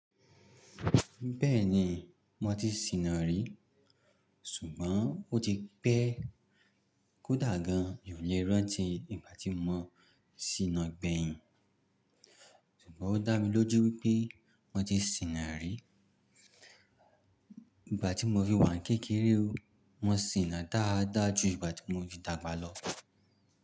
Bẹ́ẹ̀ni mo ti ṣìnà rí, ṣùgbọ́n ó ti pẹ́ kódà gan, e mi ò lè rántí ìgbà tí mo ṣìnà gbẹ̀yìn. Ṣùgbọ́n ó dá mi lójú wípé mo ti ṣìnà rí. Ìgbà tí mo fi wà kékeré o, mo ṣìnà dáadáa ju ìgbà tí mo fi dàgbà lọ.